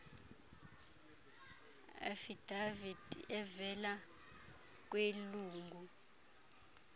affidavit evela kwilungu